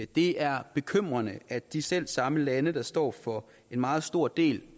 det er bekymrende at de selv samme lande der står for en meget stor del